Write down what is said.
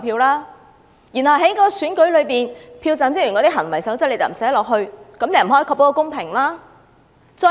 當局也沒有把票站職員的行為守則納入《條例草案》，不能確保公平。